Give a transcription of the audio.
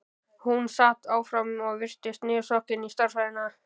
Hún sat áfram og virtist niðursokkin í stærðfræðina.